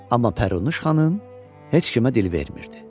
Amma Pərinüş heç kimə dil vermirdi.